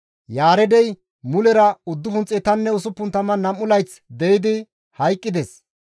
Yaareedey mulera 962 layth de7idi hayqqides.